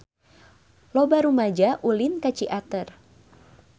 Loba rumaja ulin ka Ciater